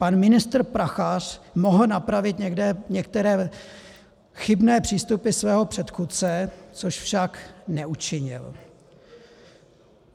Pan ministr Prachař mohl napravit některé chybné přístupy svého předchůdce, což však neučinil.